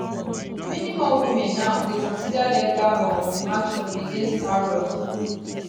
many more women now dey consider legal um action against harrods